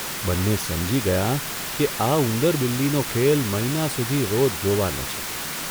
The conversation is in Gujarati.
બંને સમજી ગયાં કે આ ઉંદર બિલ્લીનો ખેલ મહિના સુધી રોજ જોવાનો છે.